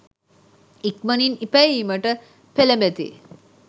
ඉක්මනින් ඉපැයීමට පෙළඹෙති.